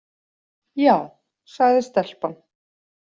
Já, sagði stelpan.